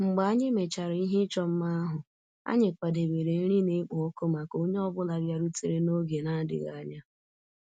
Mgbe anyị mechara ihe ịchọ mma ahụ, anyị kwadebere nri na-ekpo ọkụ maka onye ọ bụla bịarutere n'oge na-adịghị anya